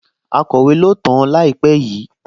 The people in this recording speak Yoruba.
Akọ̀wé ló tàn-án láìpẹ́ yìí?